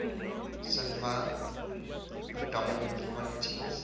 sattva predominant qualities